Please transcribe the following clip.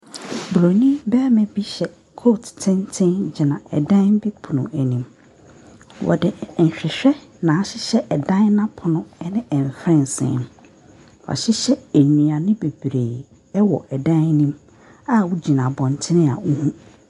Buroni barima bi hyɛ coat tenten gyina ɛdan bi pono no anim. Wɔde nhwehwɛ na a ahyɛhyɛ ɛdan no apono ne mfɛnsee. Wɔahye nnuane bebree wɔ ɛdan no mu a wogyina abɔnten a wohu.